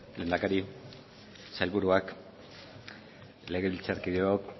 lehendakari sailburuak legebiltzarkideok